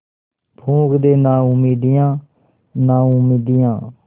फूँक दे नाउमीदियाँ नाउमीदियाँ